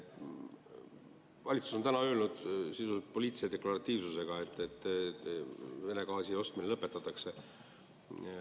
Valitsus on öelnud sisuliselt poliitilise deklaratiivsusega, et Vene gaasi ostmine lõpetatakse.